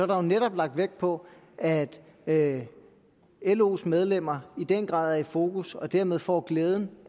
der jo netop lagt vægt på at at los medlemmer i den grad er i fokus og dermed får glæden